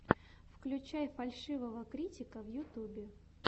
включай фальшивого критика в ютьюбе